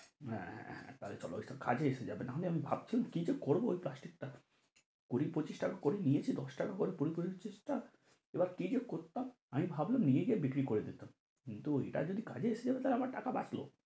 আহ হ্যাঁ টা হলে তো কাজে আসে যাবে না হলে আমি ভাবছিলাম কি যে করবো ওই প্লাস্টিক টা? কুড়ি-পঁচিশ টাকা করে নিয়েছে দশ টাকা করে কুড়ি-পঁচিশ টা এবার কি যে করতাম? আমি ভাবলাম নিয়ে যাই বিক্রি করে দিতাম কিন্তু ওইটা যদি কাজে আসে যাবে তা হলে আমার টাকা বাঁচলো,